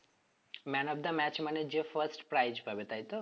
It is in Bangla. Man of the match মানে যে first priz পাবে তাই তো?